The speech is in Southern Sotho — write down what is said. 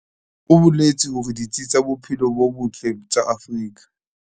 O boletse hore ditsi tsa bophelo bo botle tsa Afrika.